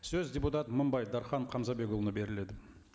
сөз депутат мыңбай дархан хамзабекұлына беріледі